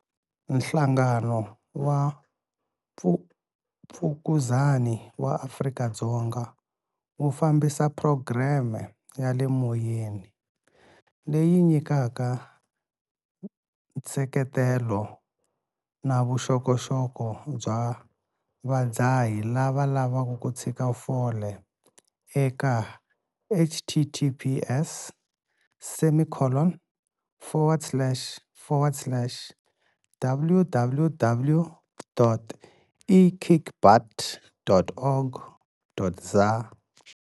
Nhlangano wa Mfukuzani wa Afrika-Dzonga wu fambisa phurogireme ya le moyeni, leyi nyikaka nseketelo na vuxokoxoko bya vadzahi lava lavaka ku tshika fole eka- https semicollon foward slash forward slash www.ekickbutt.org.za.